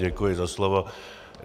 Děkuji za slovo.